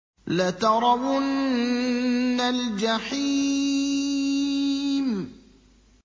لَتَرَوُنَّ الْجَحِيمَ